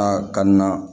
A ka na